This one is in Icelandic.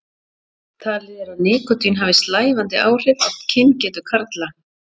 Talið er að nikótín hafi slævandi áhrif á kyngetu karla.